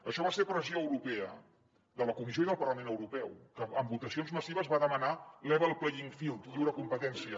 això va ser pressió europea de la comissió i del parlament europeu que amb votacions massives va demanar level playing field lliure competència